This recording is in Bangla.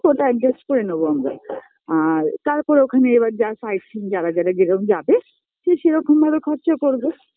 ওটা Adjust করে নেবো আমরা আর তারপর ওখানে এবার যা sightseeing যারা যারা যেরম যাবে